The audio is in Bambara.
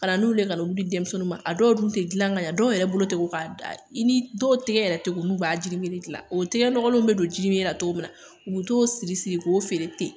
Ka n'olu ye ka na olu di denmisɛnnuw ma a dɔw dun te gilan ka ɲɛ dɔw yɛrɛ bolo'a k'a da ini dɔw tigɛ yɛrɛ te ko n'u b'a jini mere gilan o tigɛ nɔgɔlenw be don jinimere la togo min na u be t'o siri siri k'o feere ten